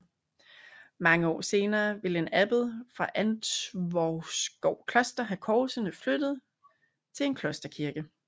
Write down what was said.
Mange år senere ville en abbed fra Antvorskov Kloster have korsene flyttet til en klosterkirke